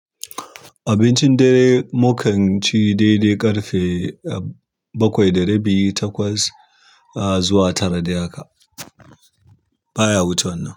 Abincin da mukanci dai dai ƙarfe bakwai ɗari biyu takwas zuwa tara dai haka baya wuce wannan.